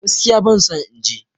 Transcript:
Gaskiya ban son in je